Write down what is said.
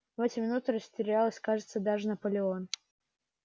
в эти минуты растерялся кажется даже наполеон